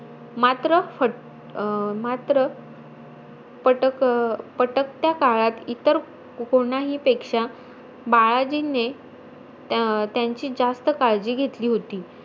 मात्र अं मात्र पटक पटकत्या काळात इतर कोणाहीपेक्षा, बाळाजींनी त्या अं त्यांची जास्त काळजी घेतली होती.